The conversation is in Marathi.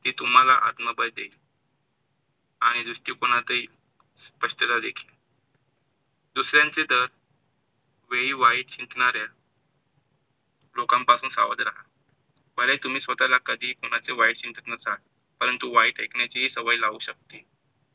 दुसऱ्यांच्या दर वेळी वाईट चिंतणाऱ्या लोकांपासून सावध राहा. भले हे तुम्ही स्वतःला कधी ही कोणाला वाईट चिंतेत नसाल, तरी परंतु वाईट ऐकण्याची सवय लागू शकते.